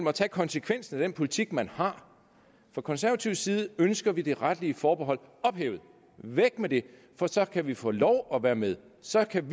at tage konsekvensen af den politik man har fra konservativ side ønsker vi det retlige forbehold ophævet væk med det for så kan vi få lov at være med så kan